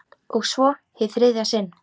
Og svo- hið þriðja sinn.